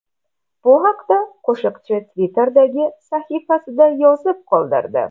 Bu haqda qo‘shiqchi Twitter’dagi sahifasida yozib qoldirdi .